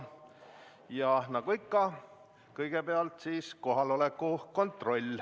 Ja nagu ikka, kõigepealt kohaloleku kontroll.